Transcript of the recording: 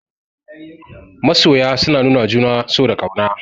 Masoya suna nuwawa juna so da ƙauna.